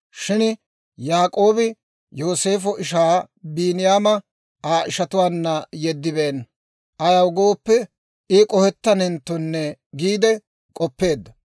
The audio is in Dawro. Shin Yaak'oobi Yooseefo ishaa Biiniyaama Aa ishatuwaanna yeddibeenna; ayaw gooppe, I k'ohettanenttonne giide k'oppeedda.